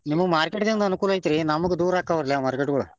ನಿಮಗ market ದಿಂದ ಅನುಕೂಲ ಐತ್ರಿ ನಮಗ ದೂರ ಅಕ್ಕಾವ್ರಿಲ್ಲ market ಗೊಳ.